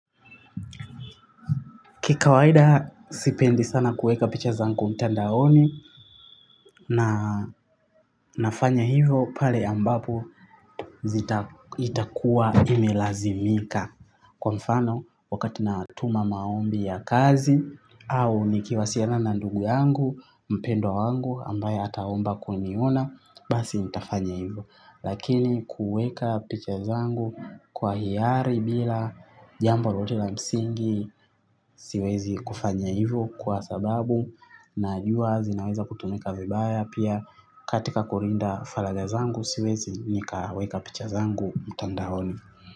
Ki kawaida sipendi sana kuweka picha zangu mtandaoni na nafanya hivo pale ambapo itakuwa imelazimika. Kwa mfano wakati natuma maombi ya kazi au nikiwasiliana na ndugu yangu, mpendwa wangu ambaye ataomba kuniona basi nitafanya hivo. Lakini kuweka picha zangu kwa hiari bila jambo lolote la msingi siwezi kufanya hivyo kwa sababu najua zinaweza kutumika vibaya pia katika kulinda faragha zangu siwezi nikaweka picha zangu mtandaoni.